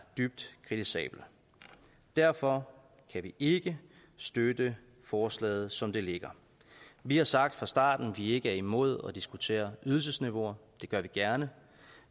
dybt kritisabelt derfor kan vi ikke støtte forslaget som det ligger vi har sagt fra starten at vi ikke er imod at diskutere ydelsesniveauer det gør vi gerne